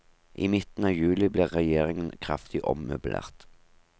I midten av juli ble regjeringen kraftig ommøblert.